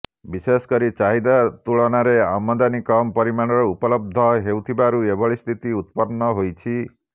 ବିଶେଷ କରି ଚାହିଦା ତୁଳନାରେ ଆମଦାନୀ କମ ପରିମାଣର ଉପଲବ୍ଧ ହୋଇଥିବାରୁ ଏଭଳି ସ୍ଥିତି ଉତ୍ପନ୍ନ ହୋଇଛି